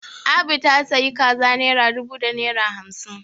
Abu ta sayi kaza naira dubu da naira hamsin